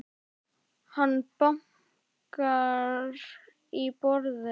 Hann bankar í borðið.